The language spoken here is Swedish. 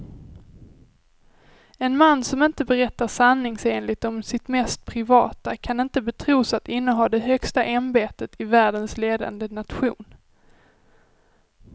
En man som inte berättar sanningsenligt om sitt mest privata kan inte betros att inneha det högsta ämbetet i världens ledande nation.